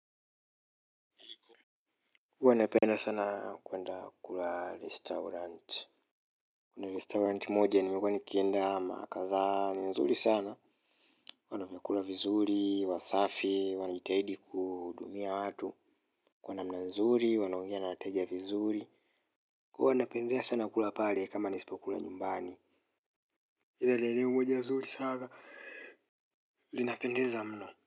Huwa napenda sana kwenda kula restaurant kuna restaurant moja nimekuwa nikienda mara kadhaa ni nzuri sana wana vyakula vizuri, wasafi, wanajitahidi kuhudumia watu kwa namna nzuri, wanaongea na wateja vizuri kwa hivyo napendelea sana kula pale kama nisipokula nyumbani. Iile ni eneo moja zuri sana. Linapendeza mno.